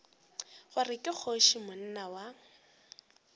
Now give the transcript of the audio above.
gore ke kgoši monna wa